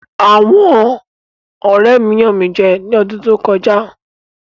Àwọn ọ̀rẹ́ mi yàn mí jẹ ní odún tó kọjá.